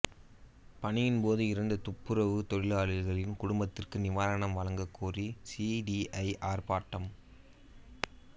பணியின்போது இறந்த துப்புரவுத் தொழிலாளியின் குடும்பத்துக்கு நிவாரணம் வழங்கக்கோரி சிஐடியு ஆர்ப்பாட்டம்